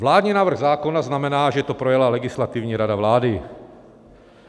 Vládní návrh zákona znamená, že to projela Legislativní rada vlády.